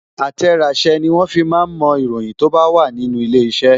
Àtẹ̀ràsẹ́ ni wọ́n fi máa ń mo ìròyìn tó bá wà nínú ilé iṣẹ́